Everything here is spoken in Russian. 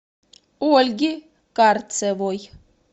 ольги карцевой